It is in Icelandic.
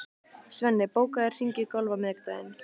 Svenni, bókaðu hring í golf á miðvikudaginn.